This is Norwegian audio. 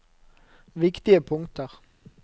viktige punkter